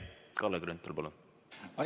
Kalle Grünthal, palun!